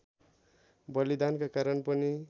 बलिदानका कारण पनि